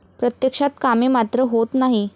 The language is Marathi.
प्रत्यक्षात कामे मात्र होत नाही.